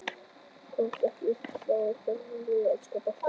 Komast ekki upp í sumar Uppáhalds lið í enska boltanum?